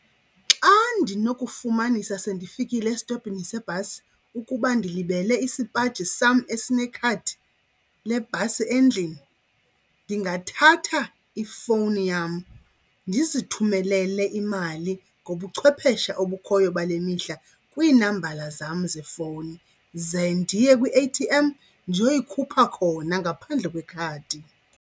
Xa ndinokufumanisa sendifikile esitophini sebhasi ukuba ndilibele isipaji sam esinekhadi lebhasi endlini ndingathatha ifowuni yam ndizithumelele imali ngobuchwepheshe obukhoyo bale mihla kwiinambala zam zefowuni. Ze ndiye kwi-A_T_M ndiyoyikhupha khona ngaphandle kwekhadi.